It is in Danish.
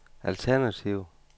alternativ